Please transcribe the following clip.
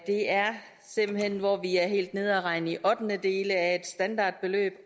det er simpelt hen sådan at vi er helt nede og regne i ottendedele af et standardbeløb